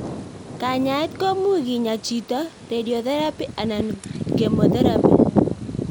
Kanyaet komuch keeny chito, radio therapy anan chemotherapy